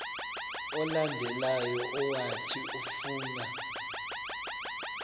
olandelayo owathi ufuna